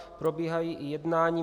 Probíhají i jednání.